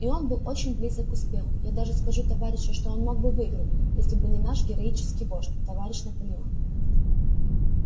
и он был очень близок к успеху я даже скажу товарищи что он мог бы выиграть если бы не наш героический вождь товарищ наполеон